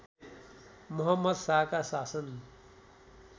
मोहम्मद शाहका शासन